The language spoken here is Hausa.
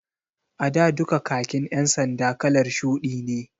A da duka khakin ƴan sanda kalar shuɗi ne